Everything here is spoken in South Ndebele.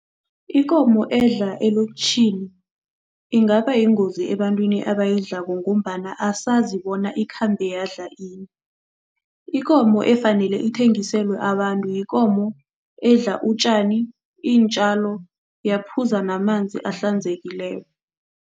Ikomo edla elokitjhini ingaba yingozi ebantwini abayidlalako ngombana asazi bona ikhambe yadla ini, Ikomo efanele ithengiselwa abantu yikomo edla utjani, iintjalo yaphuza namanzi ahlanzekileko.